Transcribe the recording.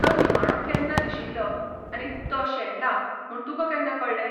तो निमाणो केन्ना दिशिल्लो आनी तो शेणला म्हूण तुका केन्ना कळ्ळें?